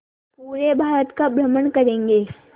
पूरे भारत का भ्रमण करेंगे